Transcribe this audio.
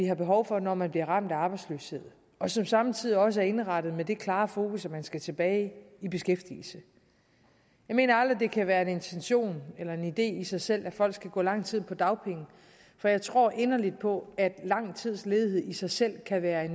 har behov for når man bliver ramt af arbejdsløshed og som samtidig også er indrettet med det klare fokus at man skal tilbage i beskæftigelse jeg mener aldrig at det kan være en intention eller en idé i sig selv at folk skal gå lang tid på dagpenge for jeg tror inderligt på at lang tids ledighed i sig selv kan være